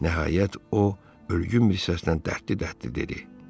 Nəhayət o, ölgün bir səslə dərdli-dərdli dedi.